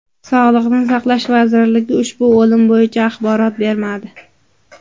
Sog‘liqni saqlash vazirligi ushbu o‘lim bo‘yicha axborot bermadi.